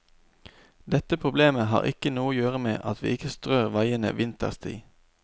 Dette problemet har ikke noe å gjøre med at vi ikke strør veiene vinterstid.